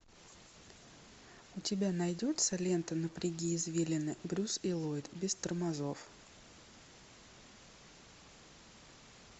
у тебя найдется лента напряги извилины брюс и ллойд без тормозов